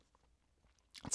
TV 2